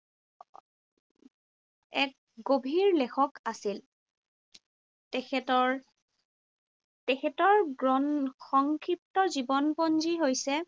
এক গভীৰ লেখক আছিল। তেখেতৰ তেখেতৰ সংক্ষিপ্ত জীৱনপঞ্জী হৈছে